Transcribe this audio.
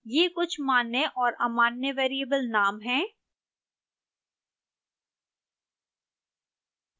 ये कुछ मान्य और अमान्य वेरिएबल नाम हैं